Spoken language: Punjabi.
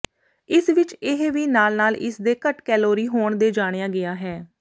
ਇਸ ਵਿਚ ਇਹ ਵੀ ਨਾਲ ਨਾਲ ਇਸ ਦੇ ਘੱਟ ਕੈਲੋਰੀ ਹੋਣ ਦੇ ਜਾਣਿਆ ਗਿਆ ਹੈ